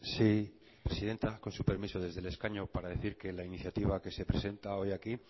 sí presidenta con su permiso desde el escaño para decir que la iniciativa que se presenta hoy aquí